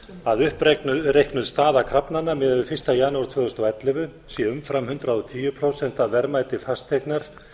að uppreiknuð stað krafnanna miðað við fyrsta janúar tvö þúsund og ellefu sé umfram hundrað og tíu prósent af verðmæti fasteignar